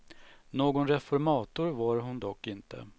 Någon reformator var hon dock inte.